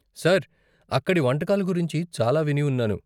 Sir, అక్కడి వంటకాల గురించి చాలా విని ఉన్నాను.